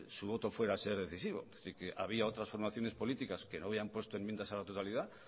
su voto fuera a ser decisivo es decir que había otras formaciones políticas que no habían puesto enmiendas a la totalidad